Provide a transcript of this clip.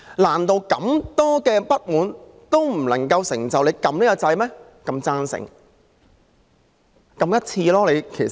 難道這眾多不滿，仍未能促使他們按下"贊成"的按鈕嗎？